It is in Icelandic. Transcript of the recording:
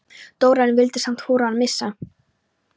Dóra, en vildi samt hvorugan missa.